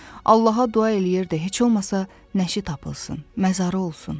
Allaha dua eləyirdi, heç olmasa nəşi tapılsın, məzarı olsun.